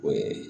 O ye